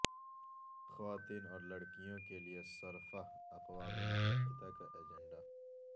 خواتین اور لڑکیوں کے لئے صرفہ اقوام متحدہ کا ایجنڈا